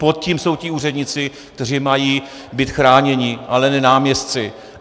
Pod tím jsou ti úředníci, kteří mají být chráněni, ale ne náměstci.